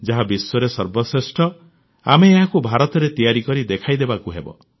ଯାହା ବିଶ୍ୱରେ ସର୍ବଶ୍ରେଷ୍ଠ ଆମେ ଏହାକୁ ଭାରତରେ ତିଆରି କରି ଦେଖାଇଦେବାକୁ ହେବ